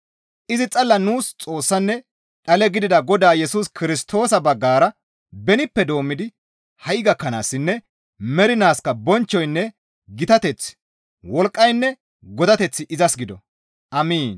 izi xalla nuus Xoossanne dhale gidida Godaa Yesus Kirstoosa baggara benippe doommidi ha7i gakkanaassinne mernaaskka bonchchoynne gitateththi, wolqqaynne godateththi izas gido. Amiin.